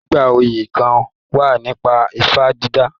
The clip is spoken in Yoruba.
Àwọn oyè kán wà nípa ifá dídà